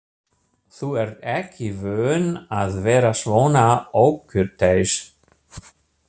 Þú ert ekki vön að vera svona ókurteis.